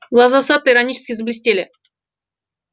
глаза сатта иронически заблестели